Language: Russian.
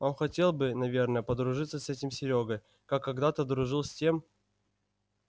он хотел бы наверное подружиться с этим серёгой как когдато дружил с тем